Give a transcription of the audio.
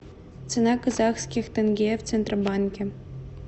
цена казахских тенге в центробанке